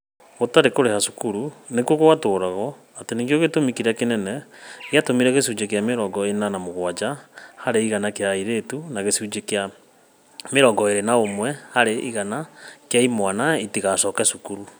Gũtarĩ kũrĩha cukuru nĩkuo gwatũragwo atĩ nĩkĩo gĩtũmi kĩrĩa kĩnene gĩatũmire gĩcunjĩ kĩa mĩrongo ĩna na mũgwanja harĩ igana kĩa airĩtu na gĩcunjĩ kĩa mĩrongo ĩrĩ na ũmwe harĩ igana kĩa imwana itigacoke cukuru.